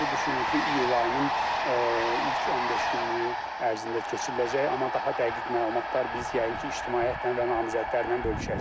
Bu düşünür ki, iyul ayının ilk 15 günlük ərzində keçiriləcək, amma daha dəqiq məlumatlar biz yəqin ki, ictimaiyyətlə və namizədlərlə bölüşəcəyik.